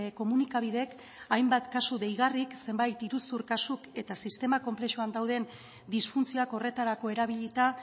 komunikabideek hainbat kasu deigarrik zenbait iruzur kasuk eta sistema konplexuan dauden disfuntzioak horretarako erabilita